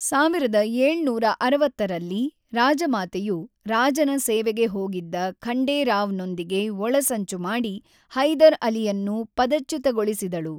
೧೭೬೦ರಲ್ಲಿ, ರಾಜಮಾತೆಯು, ರಾಜನ ಸೇವೆಗೆ ಹೋಗಿದ್ದ ಖಂಡೇ ರಾವ್ ನೊಂದಿಗೆ ಒಳಸಂಚು ಮಾಡಿ ಹೈದರ್ ಅಲಿಯನ್ನು ಪದಚ್ಯುತಗೊಳಿಸಿದಳು.